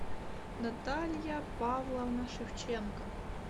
наталья павловна шевченко